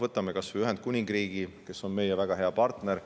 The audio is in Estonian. Võtame kas või Ühendkuningriigi, kes on meie väga hea partner.